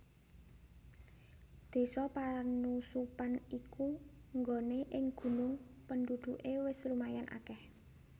Désa Panusupan iku nggone ing gunung penduduke wis lumayan akeh